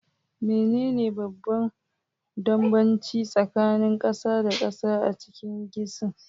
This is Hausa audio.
Menene babban bambanci tsakanin gasa da gasa a cikin kicin?